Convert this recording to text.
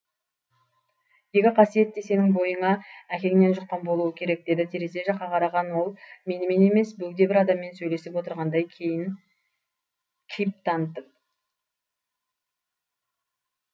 екі қасиет те сенің бойыңа әкеңнен жұққан болуы керек деді терезе жаққа қараған ол менімен емес бөгде бір адаммен сөйлесіп отырғандай кейіп танытып